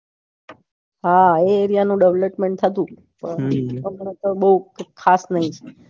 હા એ area નું development થતું બઉ ખાસ નઈ